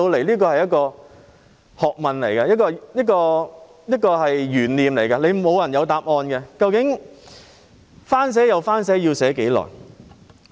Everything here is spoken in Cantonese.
這是一門學問，也是一個懸念，沒有人知道答案，究竟重寫又重寫，要多久才能成事？